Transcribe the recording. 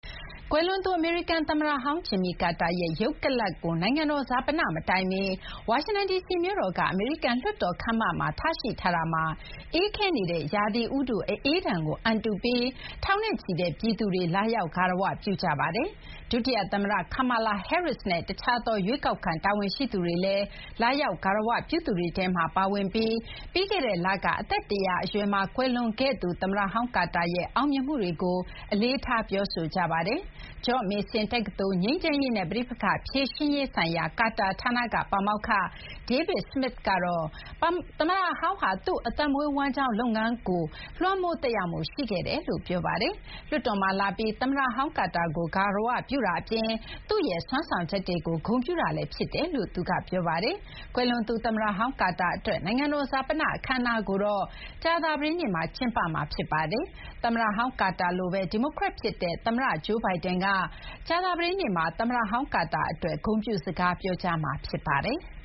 ကွယ်လွန်သူ အမေရိကန် သမ္မတဟောင်း ဂျင်မီကာတာရဲ့ ရုပ်ကလာပ်ကို နိုင်ငံတော်ဈာပန မတိုင်မီ ဝါရှင်တန်ဒီစီ မြို့တော်က အမေရိကန်လွှတ်တော် ခန်းမမှာ ထားရှိထားတာမှာ အေးခဲနေတဲ့ ရာသီဥတု အအေးဒဏ်ကို အန်တုပြီး ထောင်နဲ့ချီတဲ့ ပြည်သူတွေ လာရောက် ဂါရဝပြုကြပါတယ်။ ဒုတိယသမ္မတ ကာမာလာ ဟဲရစ်စ်နဲ့ တခြားသော ရွေးကောက်ခံ တာဝန်ရှိသူတွေလည်း လာရောက် ဂါရဝပြုသူတွေထဲမှာ ပါဝင်ပြီး ပြီးခဲ့တဲ့လက အသက် ၁၀၀ အရွယ်မှာ ကွယ်လွန်ခဲ့သူ သမ္မတဟောင်း ကာတာရဲ့ အောင်မြင်မှုတွေကို အလေးထား ပြောဆိုကြပါတယ်။ ဂျော့မေဆင် တက္ကသိုလ် ငြိမ်းချမ်းရေးနဲ့ ပဋိပက္ခဖြေရှင်းရေးဆိုင်ရာ ကာတာဌာနက ပါမောက္ခ David Smith ကတော့ သမ္မတဟောင်းဟာ သူ့အသက်မွေးဝမ်းကျောင်းလုပ်ငန်းမှာ လွှမ်းမိုးသက်ရောက်မှု ရှိတယ်လို့ ပြောပါတယ်။ လွှတ်တော်မှာလာပြီး သမ္မတဟောင်း ကာတာကို ဂါရ၀ပြုတာအပြင် သူ့ရဲ့ စွမ်းဆောင်ချက်တွေကို ဂုဏ်ပြုတာလည်း ဖြစ်တယ်လို့ သူက ပြောပါတယ်။ ကွယ်လွန်သူ သမ္မတဟောင်း ကာတာအတွက် နိုင်ငံတော် ဈာပန အခမ်းအနားကိုတော့ ကြာသပတေးနေ့မှာ ကျင်းပမှာ ဖြစ်ပါတယ်။ သမ္မတဟောင်း ကာတာလိုပဲ ဒီမိုကရက်ဖြစ်တဲ့ သမ္မတ Joe Biden ကလည်း ကြာသပတေးနေ့မှာ သမ္မတဟောင်း ကာတာအတွက် ဂုဏ်ပြုစကား ပြောကြားမှာ ဖြစ်ပါတယ်။